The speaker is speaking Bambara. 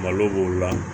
Malo b'o la